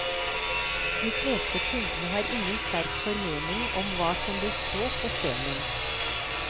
De fleste kundene har ingen sterk formening om hva som bør stå på stenen.